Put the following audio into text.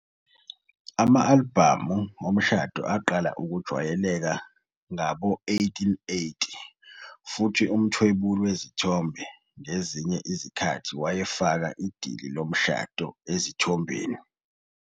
Ama-albhamu omshado aqala ukujwayelekile ngawo-1880, futhi umthwebuli wezithombe ngezinye izikhathi wayefaka idili lomshado ezithombeni.